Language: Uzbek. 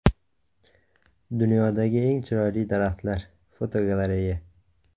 Dunyodagi eng chiroyli daraxtlar (fotogalereya).